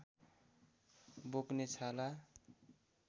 बोक्ने छाला